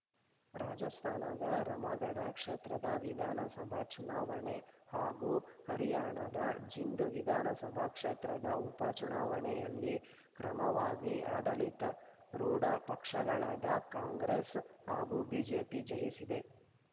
ರಾಜಸ್ಥಾನದ ರಾಮಗಢ ಕ್ಷೇತ್ರದ ವಿಧಾನಸಭಾ ಚುನಾವಣೆ ಹಾಗೂ ಹರ್ಯಾಣದ ಜಿಂದ್‌ ವಿಧಾನಸಭಾ ಕ್ಷೇತ್ರದ ಉಪಚುನಾವಣೆಯಲ್ಲಿ ಕ್ರಮವಾಗಿ ಆಡಳಿತಾರೂಢ ಪಕ್ಷಗಳಾದ ಕಾಂಗ್ರೆಸ್‌ ಹಾಗೂ ಬಿಜೆಪಿ ಜಯಿಸಿದೆ